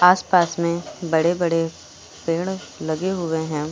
आसपास में बड़े बड़े पेड़ लगे हुए हैं।